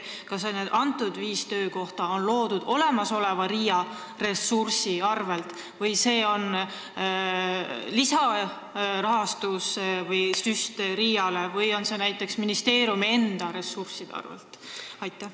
Kas need viis töökohta luuakse olemasoleva RIA ressursi eest, tuleb RIA-le selleks lisarahasüst või tehakse seda ministeeriumi enda ressursside arvel?